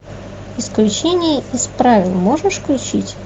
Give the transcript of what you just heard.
исключение из правил можешь включить